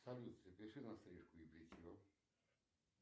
салют запиши на стрижку и бритье